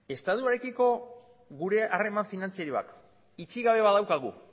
estatuarekiko gure harreman finantzieroak itxi gabe badaukagu